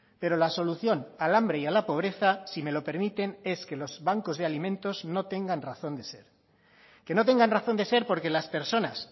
pero la solución al hambre y a la pobreza si me lo permiten es que los bancos de alimentos no tengan razón de ser que no tengan razón de ser porque las personas